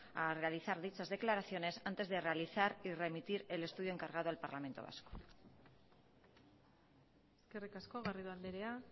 a analizar dichas declaraciones antes de realizar y remitir el estudio encargado al parlamento vasco eskerrik asko garrido andrea